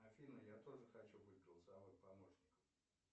афина я тоже хочу быть голосовым помощником